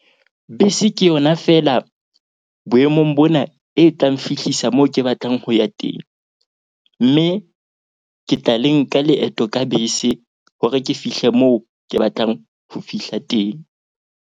Bese ke yona feela boemong bona e tlang nfihlisa moo ke batlang ho ya teng. Mme ke tla le nka leeto ka bese hore ke fihle moo ke batlang ho fihla teng.